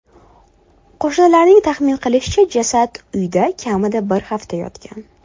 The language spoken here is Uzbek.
Qo‘shnilarning taxmin qilishicha, jasad uyda kamida bir hafta yotgan.